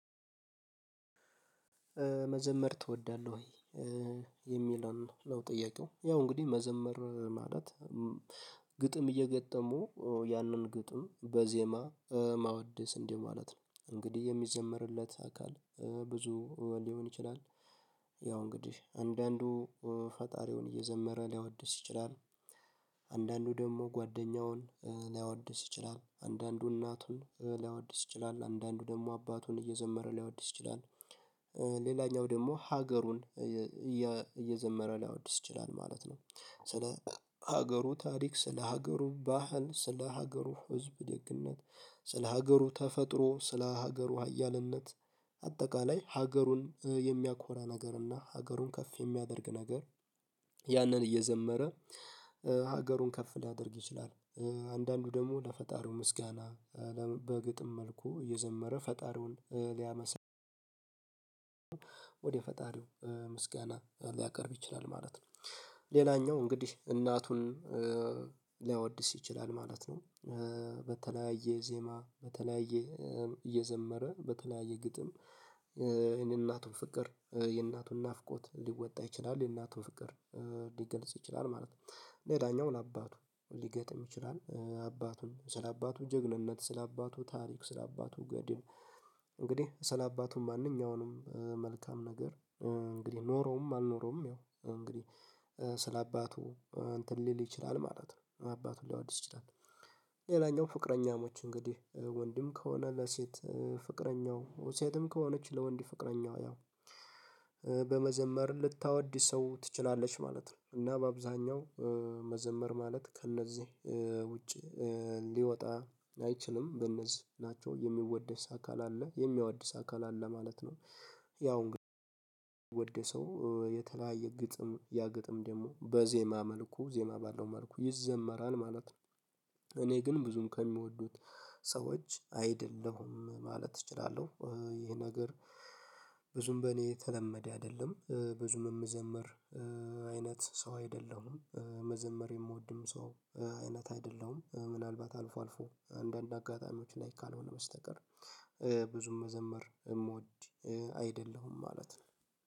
መዘመር ትወዳለህ ወይ? የሚለን ነው ጥያቄው ያው እንግዲህ መዘመር ማለት ግጥም እየገጠሙ ያንን ግጥም በዜማ ማወደስ እንዲህ ማለት ነው እንግዲህ የሚዘመርለት አካል ብዙ ሊሆን ይችላል ያው እንግዲህ አንዳንዱ ፈጣሪውን እየዘመረ ሊያወድስ ይችላል። አንዳንዱ ደግሞ ጓደኛውን ሊያወድስ ይችላል አንዳንዱ እናቱን ሊያወድስ ይችላል አንዳንዱ ደግሞ አባቱን እየዘመረ ሊያወድስ ሌላኛው ደግሞ ሀገሩን እየዘመረ ሊያወድስ ይችላል ማለት ነው። ስለ ሀገሩ ታሪክ ስለ ሀገሩ ባህል ስለ ሀገሩ ህዝብ ደግነት ስለ ሀገሩ ተፈጥሮ ስለ ሀገሩ ሀያልነት አጠቃላይ ሀገሩን የሚያኮራ ነገር እና ሀገሩን ከፍ የሚያደርግ ነገር ያንን እየዘመረ ሀገሩን ከፍ ሊያደርግ ይችላል። አንዳንዱ ደግሞ ለፈጣሪው ምስጋና በግጥም መልኩ የዘመረ ፈጣሪውን ሊያመስን ወደ ፈጣሪው ምስጋና ሊያቀርብ ይችላል ማለት ነው። ሌላኛው እንግዲህ እናቱን ሊያወድስ ይችላል ማለት ነው። በተለያየ ዜማ በተለያየ እየዘመረ በተለያየ ግጥም የእናቱን ፍቅር የእናቱን ናፍቆት ሊወጣ ይችላል የእናቱ ፍቅር ሊገልጽ ይችላል ማለት ነው። የዳኛው ለአባቱ ሊገጥም ይችላል አባቱን ስለአባቱ ጀግንነት ስለአባቱ ታሪክ ስለአባቱ ገድል እንግዲህ ስለአባቱ ማንኛውንም መልካም ነገር እንግዲህ ኖረውም አልኖረውም ያው እንግዲህ ስለ አባቱ እንትን ሊል ይችላል ማለት ነው። አባቱ ሊዋድስ ይችላል ሌላኛው ፍቅረኛሞች እንግዲህ ወንድም ከሆነ ለሴት ፍቅረኛው ሴትም ከሆነች ለወንድ ፍቅረኛው ያው በመዘመር ልታወድሰው ትችላለች ማለት ነው። እና በአብዛኛው መዘመር ማለት ከእነዚህ ውጪ ሊወጣ አይችልም በነዚህ ናቸው የሚወደስ አካል አለ የሚያወደስ አካል አለ ማለት ነው። ያው ግን የሚወደሰው የተለያየ ግጥም ያ ግጥም ደግሞ በዜማ መልኩ ዜማ ባለው መልኩ ይዘመራል ማለት ነው። እኔ ግን ብዙም ከሚወዱት ሰዎች አይደለሁም ማለት እችላለሁ ይሄ ነገር። ብዙም በእኔ የተለመደ አይደለም ብዙም የምዘምር አይነት ሰው አይደለሁም። መዘመር የምወድም ሰው አይነት አይደለሁም። ምናልባት አልፎ አልፎ አንዳንድ አጋጣሚዎች ላይ ካልሆነ በስተቀር ብዙም መዘመር እምወድ አይደለሁም ማለት ነው